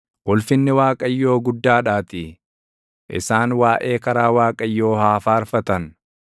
Ulfinni Waaqayyoo, guddaadhaatii, isaan waaʼee karaa Waaqayyoo haa faarfatan.